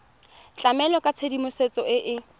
tlamela ka tshedimosetso e e